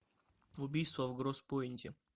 убийство в гросс пойнте